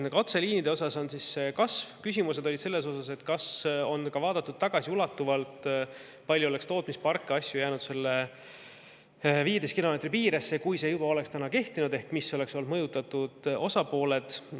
Ühesõnaga, küsimused olid selle kohta, kas on vaadatud tagasiulatuvalt, kui palju oleks tootmisparke ja muid asju jäänud 15 kilomeetri piiresse, kui see oleks juba praegu kehtinud, ja kes oleksid olnud mõjutatud osapooled.